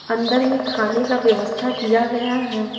अंदर में खाने का व्यवस्था किया गया है।